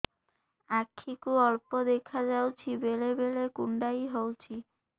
ଆଖି କୁ ଅଳ୍ପ ଦେଖା ଯାଉଛି ବେଳେ ବେଳେ କୁଣ୍ଡାଇ ହଉଛି